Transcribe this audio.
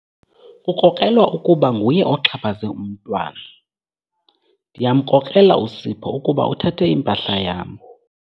Kukrokrelwa ukuba nguye oxhaphaze umntwana. Ndiyamkrokrela uSipho ukuba uthathe impahla yam.